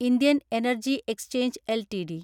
Indian energy exchange LTD